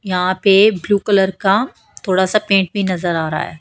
यहां पे blue colour का थोड़ा सा पेंट भी नजर आ रहा है।